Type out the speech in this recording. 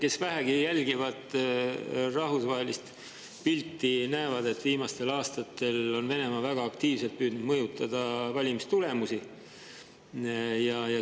Kes vähegi jälgivad rahvusvahelist pilti, näevad, et viimastel aastatel on Venemaa väga aktiivselt püüdnud mõjutada valimistulemusi.